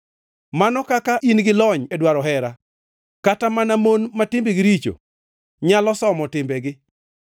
Mano kaka in gi lony e dwaro hera! Kata mana mon ma timbegi richo, nyalo somo timbegi.